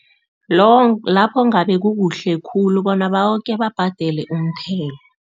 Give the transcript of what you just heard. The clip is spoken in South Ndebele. lapho kungabe kukuhle khulu bona boke babhadele umthelo.